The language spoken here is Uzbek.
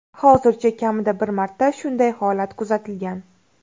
Hozircha kamida bir marta shunday holat kuzatilgan.